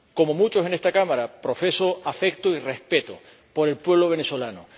Como muchos en esta Cámara, profeso afecto y respeto por el pueblo venezolano.